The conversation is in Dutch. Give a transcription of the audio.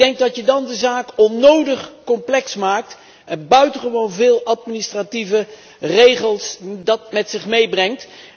Ik denk dat je dan de zaak onnodig complex maakt en dat dit buitengewoon veel administratieve regels met zich meebrengt.